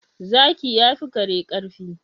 Zaki yafi kare karfi